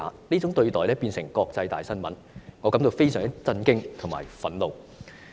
這種對待成為國際大新聞，我感到非常震驚及憤怒。